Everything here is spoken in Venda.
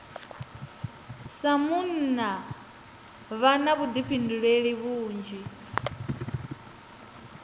sa munna vha na vhuḓifhinduleli vhunzhi